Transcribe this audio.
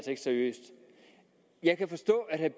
ikke seriøst jeg kan forstå at herre